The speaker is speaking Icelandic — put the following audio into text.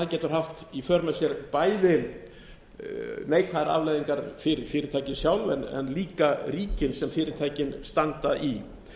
getur haft í för með sér neikvæðar afleiðingar fyrir fyrirtækin sjálf en líka ríkin sem fyrirtækin standa í